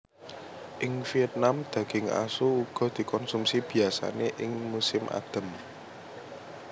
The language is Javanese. Ing Viètnam daging asu uga dikonsumsi biyasané ing musim adem